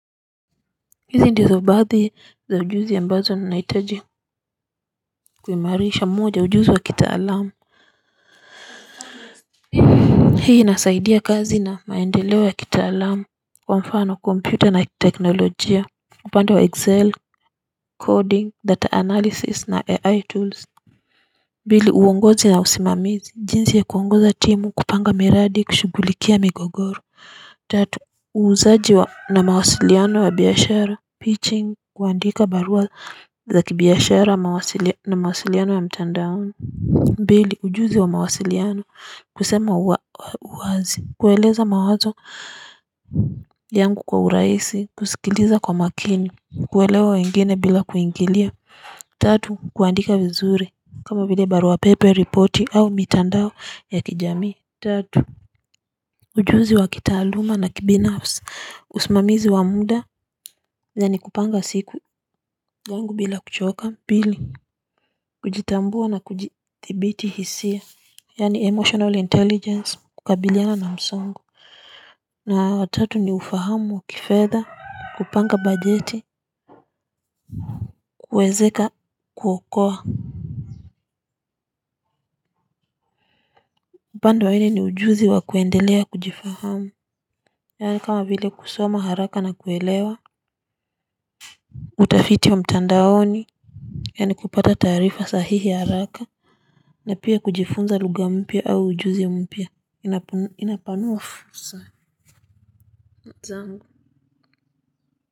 Hizi ndizo baadhi za ujuzi ambazo nahitaji. Kuimarisha. Moja, ujuzi wa kitaalamu hii nasaidia kazi na maendeleo wa kitaalamu. Kwa mfano, kompyuta na teknolojia upande wa 'excel, coding, data analysis na ai tools'. Mbili, uongozi na usimamizi. Jinsi ya kuongoza timu kupanga miradi kushugulikia migogoro. Tatu, uuzaji wa, na mawasiliano wa biashara, 'piching' kuandika barua za kibiashara na mawasiliano wa mtandao. Mbili, ujuzi wa mawasiliano, kusema uwazi, kueleza mawazo, yangu kwa urahisi, kusikiliza kwa makini, kuelewa wengine bila kuingilia. Tatu, kuandika vizuri kama vile barua pepe, ripoti au mitandao ya kijamii. Tatu, ujuzi wa kitaaluma na kibinafsi, usimamizi wa muda yaani kupanga siku yangu bila kuchoka. Pili, kujitambua na kujithibiti hisia yaani 'emotional intelligence' kukabiliana na msongo. Na watatu ni ufahamu wa kifedha, kupanga bajeti, kuwekeza, kuokoa. Upande wa nne ni ujuzi wa kuendelea kujifahamu, yaani kama vile kusoma haraka na kuelewa, utafiti wa mtandaoni yaani kupata taarifa sahihi haraka, na pia kujifunza lugha mpya au ujuzi ya mpya. Inapanua fursa zangu.